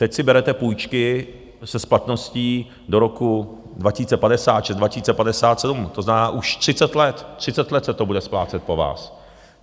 Teď si berete půjčky se splatností do roku 2056, 2057, to znamená, už 30 let, 30 let se to bude splácet po vás.